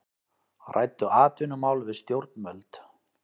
Ræddu atvinnumál við stjórnvöld